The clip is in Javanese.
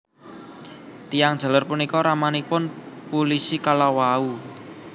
Tiyang jaler punika ramanipun pulisi kalawau